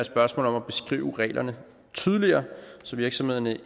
spørgsmål om at beskrive reglerne tydeligere så virksomhederne